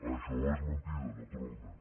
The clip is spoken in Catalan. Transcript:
això és mentida naturalment